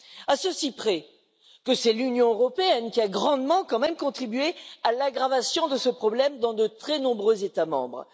À ceci près que c'est l'Union européenne qui a quand même grandement contribué à l'aggravation de ce problème dans de très nombreux États membres.